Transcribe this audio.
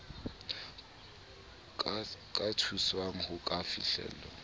ka thuswang ho ka fihlella